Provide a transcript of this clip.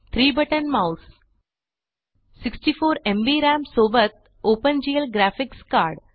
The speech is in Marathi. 3 बटन माउस 64 एमबी राम सोबत ओपन जीएल ग्राफिक्स कार्ड